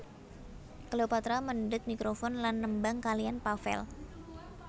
Cleopatra mendhet mikrofon lan nembang kaliyan Pavel